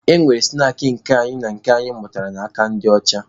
E nwekwara snaakị nke anyị na nke anyị mụtara n'aka ndị ọcha.